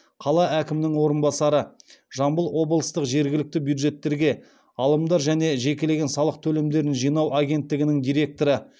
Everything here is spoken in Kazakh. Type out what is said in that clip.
қала әкімінің орынбасары жамбыл облыстық жергілікті бюджеттерге алымдар және жекелеген салық төлемдерін жинау агенттігінің директоры